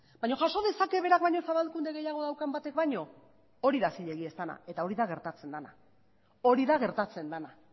baina jaso dezake berak baino zabalkunde gehiago daukan batek baino hori da zilegia ez dena eta hori da gertatzen dena hori da gertatzen dena